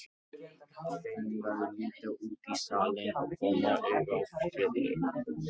Þeim verður litið út í salinn og koma auga á Friðrik.